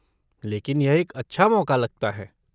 लेकिन यह एक अच्छा मौका लगता है।